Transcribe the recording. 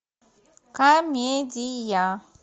комедия